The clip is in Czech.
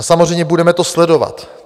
A samozřejmě budeme to sledovat.